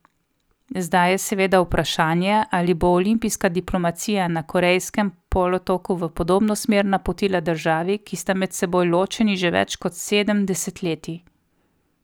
Zdaj je seveda vprašanje, ali bo olimpijska diplomacija na Korejskem polotoku v podobno smer napotila državi, ki sta med seboj ločeni že več kot sedem desetletij.